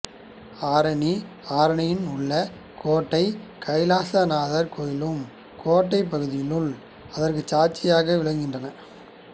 ஆரணிஆரணியின் உள்ள கோட்டை கைலாசநாதர் கோயிலும் கோட்டை பகுதிகளும் அதற்கு சாட்சியாக விளங்குகின்றன